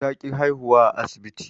Ta ƙi haihuwa a asibti